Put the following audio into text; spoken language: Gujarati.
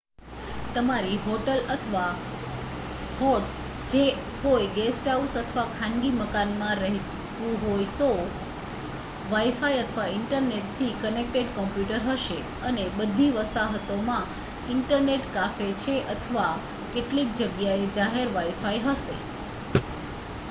તમારી હોટલ અથવા હોસ્ટ્સ જો કોઈ ગેસ્ટહાઉસ અથવા ખાનગી મકાનમાં રહેવું હોય તો વાઇ-ફાઇ અથવા ઇન્ટરનેટથી કનેક્ટેડ કોમ્પ્યુટર હશે અને બધી વસાહતોમાં ઇન્ટરનેટ કાફે છે અથવા કેટલીક જગ્યાએ જાહેર વાઇ-ફાઇ હશે